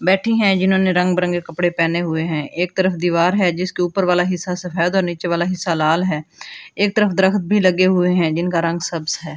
बैठी हैं जिन्होंने रंग बरंगे कपड़े पहने हुए हैं एक तरफ दीवार है जिसके ऊपर वाला हिस्सा सफेद और नीचे वाला हिस्सा लाल है एक तरफ दरख्त भी लगे हुए हैं जिनका रंग सब्ज है।